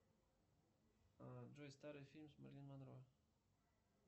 джой старый фильм с мерлин монро